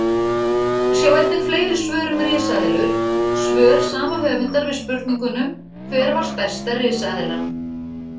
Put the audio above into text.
Sjá einnig fleiri svör um risaeðlur: Svör sama höfundar við spurningunum Hver var stærsta risaeðlan?